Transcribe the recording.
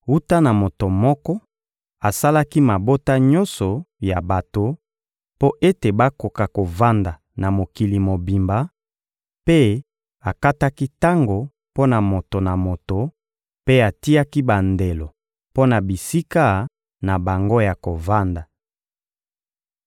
Wuta na moto moko, asalaki mabota nyonso ya bato, mpo ete bakoka kovanda na mokili mobimba; mpe akataki tango mpo na moto na moto mpe atiaki bandelo mpo na bisika na bango ya kovanda.